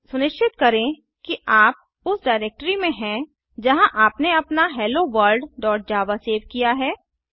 सुनिश्चित करें कि आप उस डिरेक्टरी में हैं जहाँ आपने अपना helloworldजावा सेव किया है